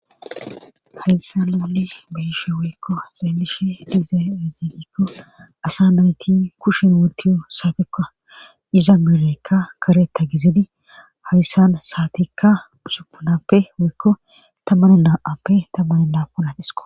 Hayssanane beishe woykko xeelishe ize izigikko asa nayti kushen wootiyo saatekka iza meerekka karetta gizidi hawissan saatekka usupunappe woykko tammane naa7appe tammane laapuna dhisko